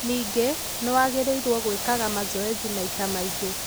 Ningĩ, nĩ wagĩrĩirũo gwĩkaga mazoezi maĩta maĩngĩ.